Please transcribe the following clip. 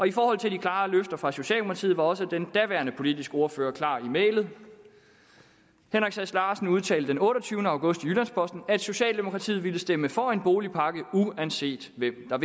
i forhold til de klare løfter fra socialdemokratiet var også den daværende politiske ordfører klar i mælet herre henrik sass larsen udtalte den otteogtyvende august i jyllands posten at socialdemokratiet ville stemme for en boligpakke uanset hvem der